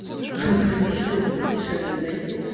блядь ещё бы подешевле найти